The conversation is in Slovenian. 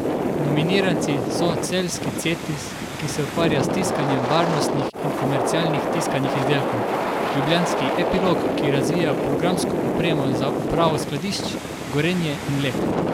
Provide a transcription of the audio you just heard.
Nominiranci so celjski Cetis, ki se ukvarja s tiskanjem varnostnih in komercialnih tiskanih izdelkov, ljubljanski Epilog, ki razvija programsko opremo za upravo skladišč, Gorenje in Lek.